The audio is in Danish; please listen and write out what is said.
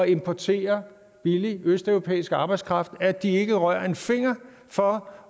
importere billig østeuropæisk arbejdskraft og at de ikke rører en finger for